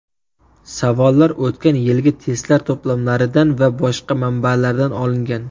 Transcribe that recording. Savollar o‘tgan yilgi testlar to‘plamlaridan va boshqa manbalardan olingan.